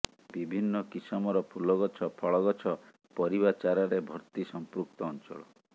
ବିଭିନ୍ନ କିସମର ଫୁଲଗଛ ଫଳ ଗଛ ପରିବା ଚାରାରେ ଭର୍ତ୍ତୀ ସଂପୃକ୍ତ ଅଞ୍ଚଳ